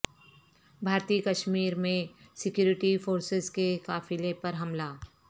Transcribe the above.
بھارتی کشمیر میں security forces کے قافلے پر حملہ